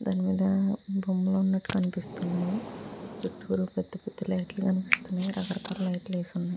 దాని మీద బొమ్మలు ఉన్నట్టు కనిపిస్తున్నాయి. చుట్టు పెద్ద పెద్ద లైట్ కనిపిస్తున్నాయి. లైట్ లేసి ఉన్నాయి.